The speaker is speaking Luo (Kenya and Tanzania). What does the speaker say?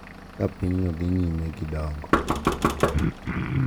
Ka pinyno dhi nyime gi dongo,